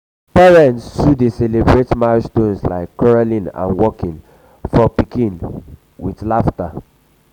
parents too dey celebrate milestones like crawling and walking of child with laughter.